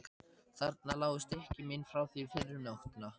Þarna lágu stykki mín frá því fyrr um nóttina.